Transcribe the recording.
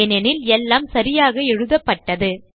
ஏனெனில் எல்லாம் சரியாக எழுதப்பட்டது